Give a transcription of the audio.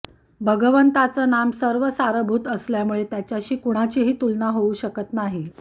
भगवंताचं नाम सर्व सारभूत असल्यामुळे त्याच्याशी कुणाचीही तुलना होऊ शकत नाही